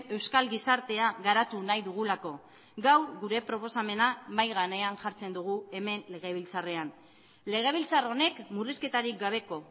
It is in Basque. euskal gizartea garatu nahi dugulako gaur gure proposamena mahai gainean jartzen dugu hemen legebiltzarrean legebiltzar honek murrizketarik gabeko